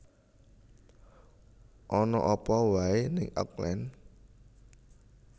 Ana apa wae ning Auckland?